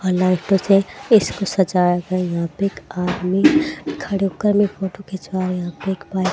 अ लाइटो से इसको सजाया था यहा पे एक आदमी खड़े होकर मे फोटो खिंचवाया यहा पे एक पाइ--